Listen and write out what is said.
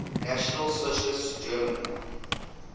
national socialist german